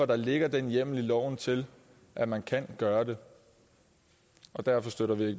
der ligger den hjemmel i loven til at man kan gøre det derfor støtter vi